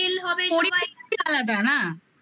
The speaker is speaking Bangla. পরিবেশ আলাদা না